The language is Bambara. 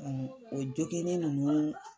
o joginnen nunnu